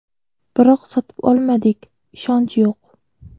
Biroq sotib olmadik, ishonch yo‘q.